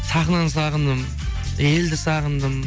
сахнаны сағындым елді сағындым